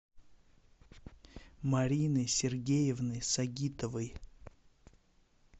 марины сергеевны сагитовой